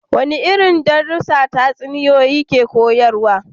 Wadanne irin darussa tatsuniyoyi ke koyarwa?